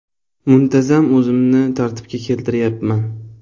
Muntazam o‘zimni tartibga keltiryapman.